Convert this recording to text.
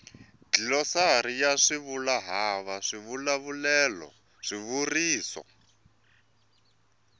dlilosari ya swivulwahava swivulavulelo swivuriso